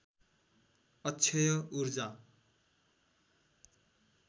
अक्षय ऊर्जा